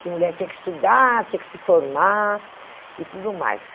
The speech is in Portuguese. Que mulher tinha que estudar, tinha que se formar e tudo mais.